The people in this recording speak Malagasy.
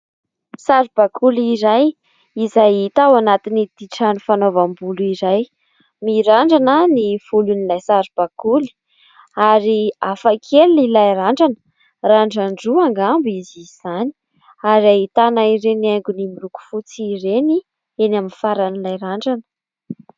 Saribakoly iray izay hita ho anatin'ity trano fanaovam-bolo iray. Mirandrana ny volon'ilay sarobakoly ary hafakely ilay randrana; randran-droa angamba izy izany. Ary ahitana ireny haingony miloko fotsy ireny eny amin'ny faran'ilay randrana.